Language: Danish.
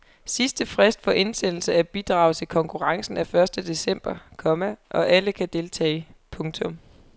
Sidste frist for indsendelse af bidrag til konkurrencen er første december, komma og alle kan deltage. punktum